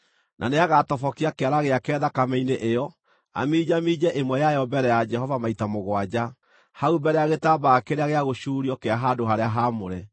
Na nĩagatobokia kĩara gĩake thakame-inĩ ĩyo, aminjaminje ĩmwe yayo mbere ya Jehova maita mũgwanja, hau mbere ya gĩtambaya kĩrĩa gĩa gũcuurio kĩa handũ-harĩa-haamũre.